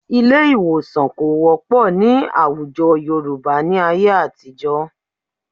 Ilé ì̀wòsàn kò wọ́pọ̀ ní àwùjọ Yorùbá ní ayé àtijọ́